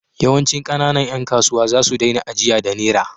Yawancin ƙananan ƴan kasuwa za su daina ajiya da Nera.